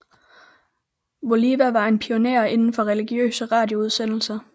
Voliva var en pionér inden for religiøse radioudsendelser